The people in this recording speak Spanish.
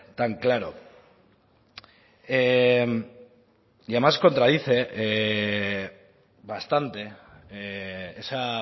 tan claro y además contradice bastante esa